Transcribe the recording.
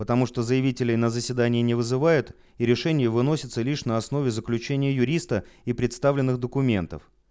потому что заявителей на заседание не вызывают и решение выносится лишь на основе заключения юриста и представленных документов